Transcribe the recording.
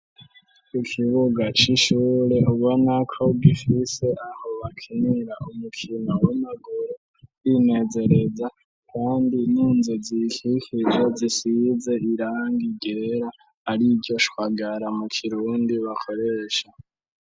Ikibuga c'ishure, ubona ko gifise aho bakinira umukino w'amaguru, kwinezereza, kandi n'inzu ziyikikije zisize irangi ryera, ariryo shwagara mu kirundi bakoresha.